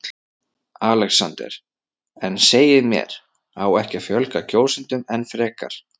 ALEXANDER: En segið mér: á ekki að fjölga kjósendum enn frekar?